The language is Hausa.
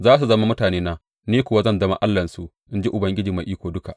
Za su zama mutanena, ni kuma zan zama Allahnsu, in ji Ubangiji Mai Iko Duka.’